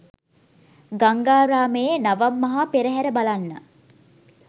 ගංගාරාමයේ නවම් මහා පෙරහර බලන්න